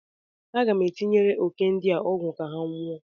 Aga m etinyere òké ndi a ọgwụ ka ha nwụọ.